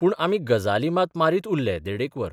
पूण आमी गजाली मात मारीत उरले देडेक वर.